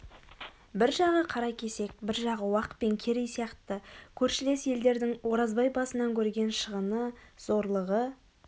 бір жағы қаракесек бір жағы уақ пен керей сияқты көршілес елдердің оразбай басынан көрген шығыны зорлығы